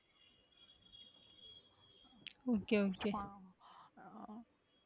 Okay okay.